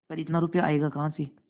पर इतना रुपया आयेगा कहाँ से